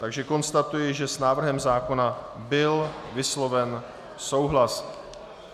Takže konstatuji, že s návrhem zákona byl vysloven souhlas.